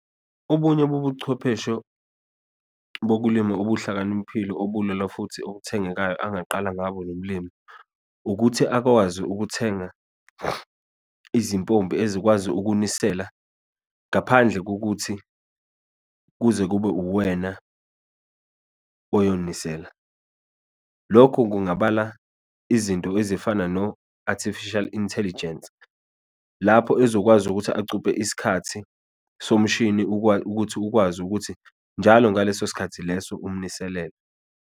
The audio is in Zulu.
Obunye bobuchwepheshe bokulima obuhlakaniphile obulula, futhi obuthengayo, angaqala ngabo lomlimi, ukuthi akwazi ukuthenga izimpopi ezikwazi ukunisela ngaphandle kokuthi kuze kube uwena uyonisela. Lokho kungabala izinto ezifana no-artificial intelligence, lapho ezokwazi ukuthi acuphe isikhathi, somshini ukuthi ukwazi ukuthi njalo ngaleso sikhathi leso umniselele.